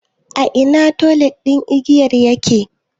A ina otal ɗin giyar yake?